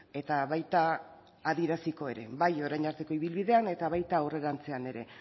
eta baita adieraziko ere bai orain arteko ibilbidean eta baita aurrerantzean ere